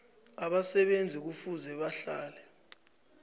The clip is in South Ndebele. abasebenzi kufuze bahlale